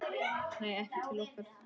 Nei, ekki til okkar